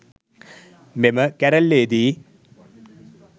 මෙම කැරැල්ලේ දී